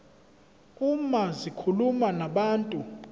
uma zikhuluma nabantu